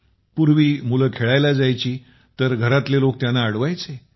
पूर्वी मुलं खेळायला जायची तर घराचे लोक त्यांना अडवायचे